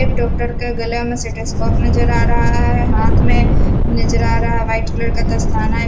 एक डॉक्टर के गले में स्टेथोस्कोप नजर आ रहा है हाथ में नजर आ रहा वाइट कलर का दस्ताना है।